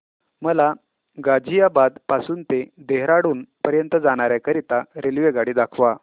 मला गाझियाबाद पासून ते देहराडून पर्यंत जाण्या करीता रेल्वेगाडी दाखवा